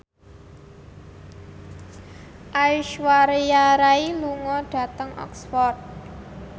Aishwarya Rai lunga dhateng Oxford